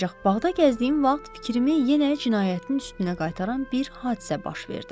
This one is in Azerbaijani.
Ancaq bağda gəzdiyim vaxt fikrimi yenə cinayətin üstünə qaytaran bir hadisə baş verdi.